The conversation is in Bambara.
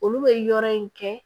Olu bɛ yɔrɔ in kɛ